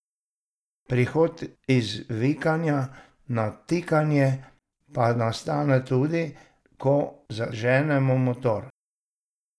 Prehod iz vikanja na tikanje pa nastane tudi, ko zaženemo motor.